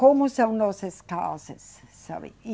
Como são nossas casas, sabe?